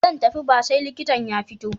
Ba zan tafi ba sai likitan ya fito.